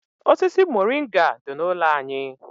Osisi moringa dị n'ụlọ anyị.